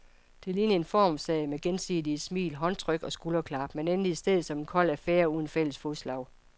Det lignede en formssag med gensidige smil, håndtryk og skulderklap, men endte i stedet som en kold affære uden fælles fodslag.